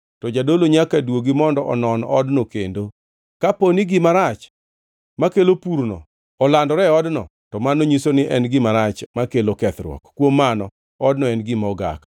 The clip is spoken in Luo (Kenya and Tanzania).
to jadolo nyaka duogi mondo onon odno kendo. Kapo ni gima rach makelo purno olandore e odno, to mano nyiso ni en gima rach makelo kethruok, kuom mano odno en gima ogak.